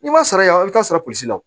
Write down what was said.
I ma sara yan i bɛ taa sɔrɔ polisi la